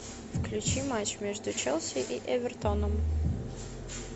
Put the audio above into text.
включи матч между челси и эвертоном